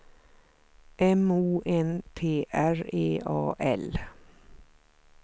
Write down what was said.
M O N T R E A L